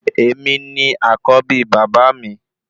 Èmi ni àkọ́bí bàbá mi